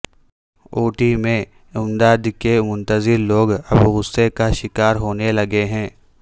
اڑی میں امداد کے منتظر لوگ اب غصے کا شکار ہونے لگے ہیں